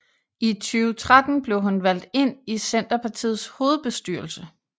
I 2013 blev hun valgt ind i Centerpartiets hovedbestyrelse